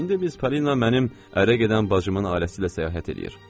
İndi biz Palina mənim ərə gedən bacımın ailəsi ilə səyahət eləyir.